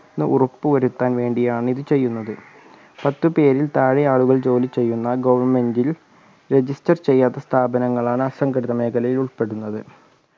എന്ന് ഉറപ്പുവരുത്താൻ വേണ്ടിയാണ് ഇത് ചെയ്യുന്നത് പത്തുപേരിൽ താഴെ ആളുകൾ ജോലി ചെയ്യുന്ന government ൽ register ചെയ്യാത്ത സ്ഥാപനങ്ങൾ ആണ് അസംഘടിത മേഖലയിൽ ഉൾപ്പെടുന്നത്